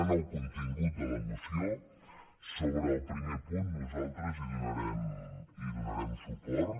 anant al contingut de la moció sobre el primer punt nosaltres hi donarem suport